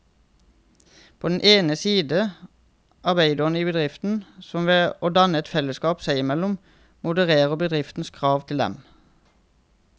På den ene side arbeiderne i bedriften, som ved å danne et fellesskap seg imellom modererer bedriftens krav til dem.